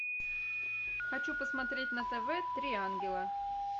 хочу посмотреть на тв три ангела